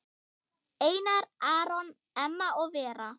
Einar Aron, Emma og Vera.